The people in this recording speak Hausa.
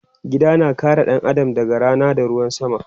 Gida na kare ɗan Adam daga Rana da ruwan sama